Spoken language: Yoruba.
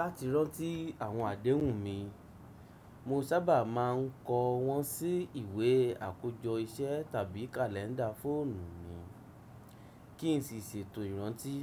Láti rántí àwọn àdéhùn mi, mo sábà máa ń kọ wọ́n sí ìwé àkójọ iṣẹ́ tàbí kàlẹ́ńdà fóònù mi kí n sì ṣètò ìrántí